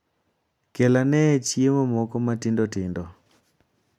Kel ane chiemo moko matindo tindo.